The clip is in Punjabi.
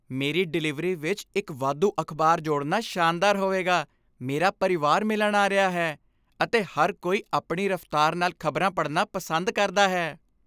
ਮੇਰੀ ਡਿਲੀਵਰੀ ਵਿੱਚ ਇੱਕ ਵਾਧੂ ਅਖਬਾਰ ਜੋੜਨਾ ਸ਼ਾਨਦਾਰ ਹੋਵੇਗਾ! ਮੇਰਾ ਪਰਿਵਾਰ ਮਿਲਣ ਆ ਰਿਹਾ ਹੈ, ਅਤੇ ਹਰ ਕੋਈ ਆਪਣੀ ਰਫਤਾਰ ਨਾਲ ਖ਼ਬਰਾਂ ਪੜ੍ਹਨਾ ਪਸੰਦ ਕਰਦਾ ਹੈ।